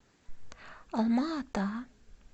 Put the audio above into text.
алма ата